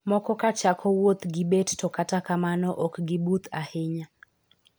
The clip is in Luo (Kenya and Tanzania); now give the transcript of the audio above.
Moko ka chako wuoth gi bet to kata kamano ok gi buth ahinya.